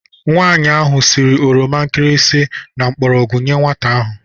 Nwaanyi ahụ siri oroma nkirisi na mgbọrọgwụ nyee nwata ahụ.